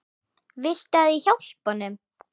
Viltu að ég hjálpi honum?